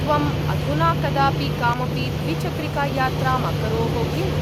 त्वम् अधुना कदापि कामपि द्विचक्रिकायात्राम् अकरोः किम्?